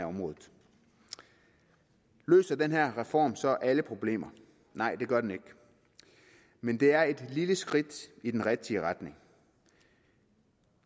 området løser den her reform så alle problemer nej det gør den ikke men det er et lille skridt i den rigtige retning